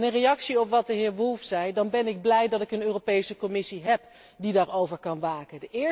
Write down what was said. En, in reactie op wat de heer Woolfe zei, dan ben ik blij dat ik een Europese Commissie heb die daarover kan waken.